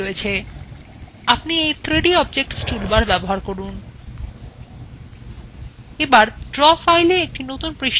আপনি you 3d objects toolbar